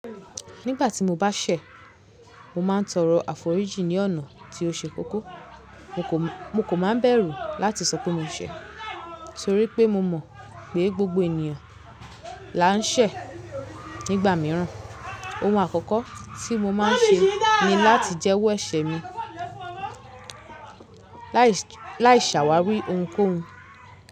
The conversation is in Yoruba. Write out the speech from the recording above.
Nígbà tí mo bá ṣẹ̀, mo máa ń tọrọ àforíjì ní ọ̀nà tí ó ṣe kókó. Mo kan máa bẹ̀rù láti sọ pé mo ṣẹ̀ torí pé mo mọ̀ pé gbogbo ènìyàn la ń ṣẹ̀ nígbà míràn. Ohun àkọ́kọ́ tí mo máa ń ṣe ni láti jẹ́wọ́ ẹ̀ṣẹ̀ mi lai ṣàwáwi ohunkóhun.